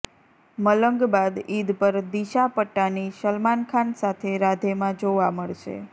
મલંગ બાદ ઈદ પર દિશા પટાની સલમાન ખાન સાથે રાધેમાં જોવા મળશે